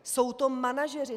Jsou to manažeři.